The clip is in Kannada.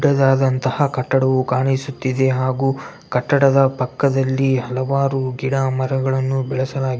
ದೊಡ್ಡದಂತಹ ಕಟ್ಟಡವು ಕಾಣಿಸುತ್ತಿದೆ ಹಾಗು ಕಟ್ಟಡದ ಪಕ್ಕದಲ್ಲಿ ಹಲವಾರು ಗಿಡ ಮರಗಳನ್ನು ಬೆಳೆಸಲಾಗಿದೆ .